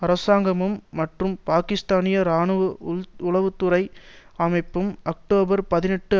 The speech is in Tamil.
அரசாங்கமும் மற்றும் பாக்கிஸ்தானிய இராணுவ உளவு துறை அமைப்பும் அக்டோபர் பதினெட்டு